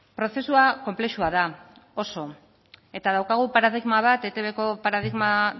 prozesua konplexua da oso eta daukagu paradigma bat eitbko paradigma